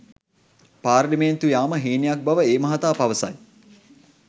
පාර්ලිමේන්තු යාම හීනයක් බව ඒ මහතා පවසයි.